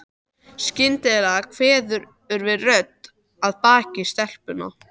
Skyndilega kveður við rödd að baki stelpunum.